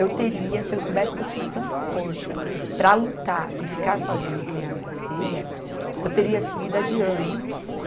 Eu teria, se eu soubesse que eu tinha tanta força para lutar e ficar sozinha e criar minhas filhas, eu teria seguido adiante.